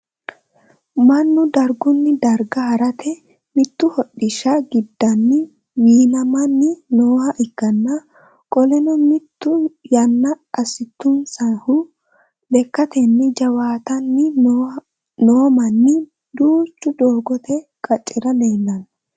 Mannu dargunni darga harate mitu hodhisha gidanni wiinamanni nooha ikanna qoleno mitu yanna asitunsahu lekatenni jawaatanni noomanni duuchu doogote qacera leelano.